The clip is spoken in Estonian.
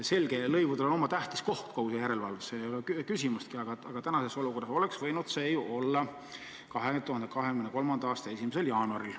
Selge, et lõivudel on oma tähtis koht kogu selles järelevalves, selles ei ole küsimustki, aga praeguses olukorras oleks see võinud olla ju 2023. aasta 1. jaanuaril.